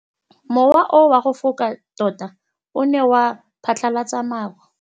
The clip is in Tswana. Mowa o wa go foka tota o ne wa phatlalatsa maru.